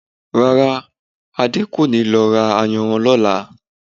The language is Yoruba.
Rárá, Adé kò ní lọ ra ayanran lọ́là?